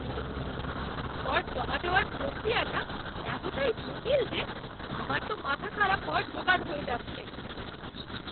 কর জমা দেওয়ার প্রক্রিয়াটা এতটাই জটিল যে আমার তো মাথা খারাপ হওয়ার জোগাড় হয়ে যাচ্ছে!